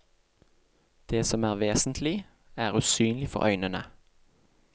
Det som er vesentlig, er usynlig for øynene.